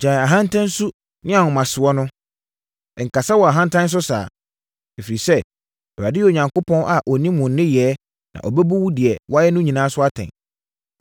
“Gyae ahantansu ne ahomasoɔ no, nkasa wɔ ahantan so saa! Ɛfiri sɛ, Awurade yɛ Onyankopɔn a ɔnim wo nneyɛeɛ na ɔbɛbu wo deɛ woayɛ no so atɛn.